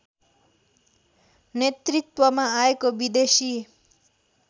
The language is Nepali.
नेतृत्वमा आएको विदेशी